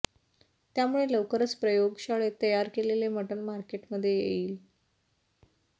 त्यामुळे लवकरच प्रयोगशाळेत तयार केलेले मटण मार्केटमध्ये येईल